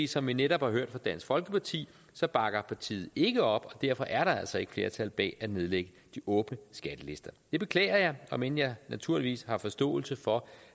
som vi netop har hørt fra dansk folkeparti bakker partiet ikke op og derfor er der altså ikke et flertal bag at nedlægge de åbne skattelister det beklager jeg om end jeg naturligvis har forståelse for